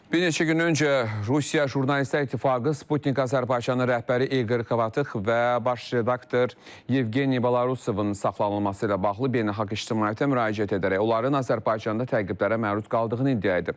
Bir neçə gün öncə Rusiya Jurnalistlər İttifaqı Sputnik Azərbaycanın rəhbəri İqor Xovıx və baş redaktor Yevgeniy Balarusovun saxlanılması ilə bağlı beynəlxalq ictimaiyyətə müraciət edərək onların Azərbaycanda təqiblərə məruz qaldığını iddia edib.